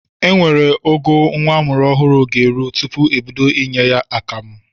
Enwere ogo nwa amụrụ ọhụrụ ga-eru tupu ebido inye ya akamụ.